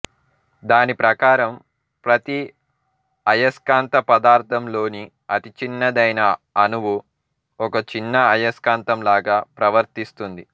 దాని ప్రకారం ప్రతి అయస్కాంత పదార్థంలోని అతి చిన్నదైన అణువు ఒక చిన్న అయస్కాంతం లాగా ప్రవర్తిస్తుంది